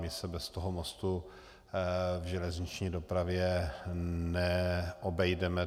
My se bez toho mostu v železniční dopravě neobejdeme.